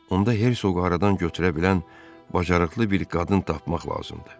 Onda Hersoqu aradan götürə bilən bacarıqlı bir qadın tapmaq lazımdır.